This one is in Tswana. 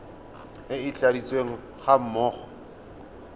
e e tladitsweng ga mmogo